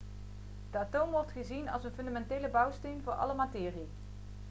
de atoom wordt gezien als een fundamentele bouwsteen voor alle materie